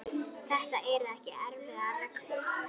Þetta eru ekki erfiðar reglur.